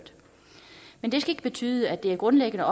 skal ikke betyde at det er et grundlæggende